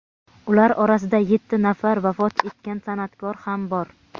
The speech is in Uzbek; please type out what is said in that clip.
Ular orasida yetti nafar vafot etgan sana’tkor ham bor.